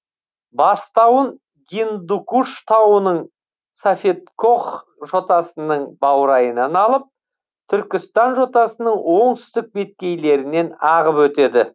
бастауын гиндукуш тауының сафедкох жотасының баурайынан алып түркістан жотасының оңтүстік беткейлерінен ағып өтеді